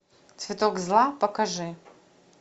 цветок зла покажи